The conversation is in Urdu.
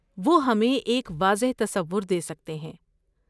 وہ ہمیں ایک واضح تصور دے سکتے ہیں۔